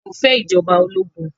A ò fẹ́ ìjọba ológun.